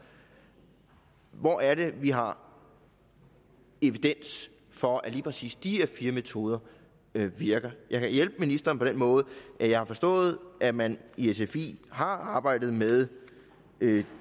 hvor er det vi har evidens for at lige præcis de her fire metoder virker jeg kan hjælpe ministeren på den måde at jeg har forstået at man i sfi har arbejdet med